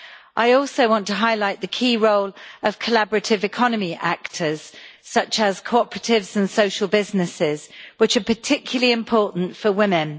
I also want to highlight the key role of collaborative economy actors such as cooperatives and social businesses, which are particularly important for women.